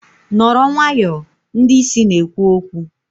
nọrọ nwayọọ! ndị isi na-ekwu okwu